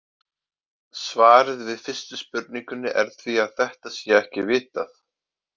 Svarið við fyrstu spurningunni er því að þetta sé ekki vitað.